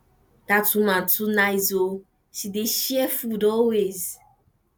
dat woman too nice oo she dey share food always